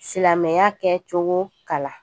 Silamɛya kɛcogo kalan